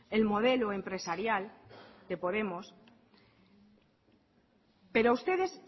el modelo empresarial de podemos pero a ustedes